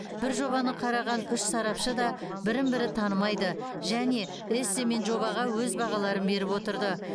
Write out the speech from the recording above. бір жобаны қараған үш сарапшы да бірін бірі танымайды және эссе мен жобаға өз бағаларын беріп отырды